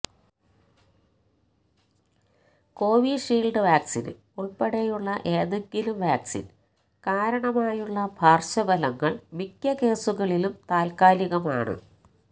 Covishield vaccine ഉള്പ്പെടെയുള്ള ഏതെങ്കിലും vaccine കാരണമായുള്ള പാര്ശ്വഫലങ്ങള് മിക്ക കേസുകളിലും താല്ക്കാലികമാണ്